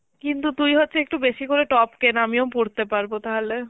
কিন্তু তুই হচ্ছে একটু বেশি করে top কেন আমিও পরতে পারবো তাহলে